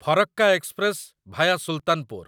Farakka express via Sultanpur